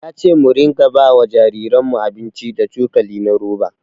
Ya ce mu rika ba wa jariranmu abinci da cokali na roba.